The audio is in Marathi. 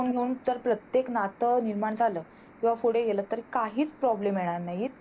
दृष्टीकोन घेवून तर प्रत्येक नात निर्माण झाल किंवा पुढे गेल तर काहीच Problem येणार नाही.